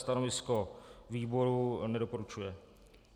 Stanovisko výboru: nedoporučuje.